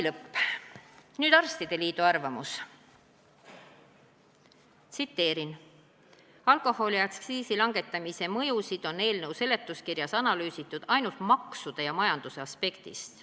" Nüüd Eesti Arstide Liidu arvamus: "Alkoholiaktsiisi langetamise mõjusid on eelnõu seletuskirjas analüüsitud ainult maksude ja majanduse aspektist.